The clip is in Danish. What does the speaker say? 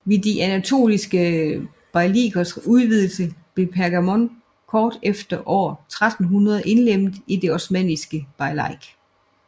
Ved de anatoliske beylikers udvidelse blev Pergamon kort efter år 1300 indlemmet i det osmanniske beylik